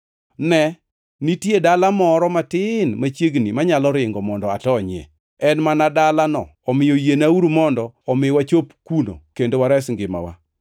Ne, nitie dala moro matin machiegni manyalo ringo mondo atonyie. En mana dalano omiyo yienwauru mondo omi wachop kuno kendo wares ngimawa.”